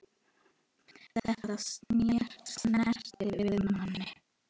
Þetta snertir við manni.